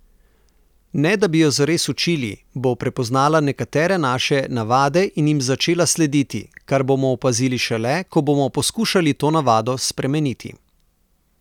Ne da bi jo zares učili, bo prepoznala nekatere naše navade in jim začela slediti, kar bomo opazili šele, ko bomo poskušali to navado spremeniti.